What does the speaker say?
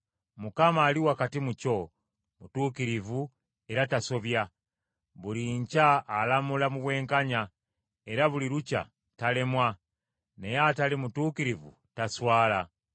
Mukama ali wakati mu kyo, mutuukirivu era tasobya. Buli nkya alamula mu bwenkanya, era buli lukya talemwa; naye atali mutuukirivu taswala.